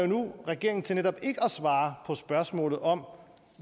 nu regeringen til netop ikke at svare på spørgsmålet om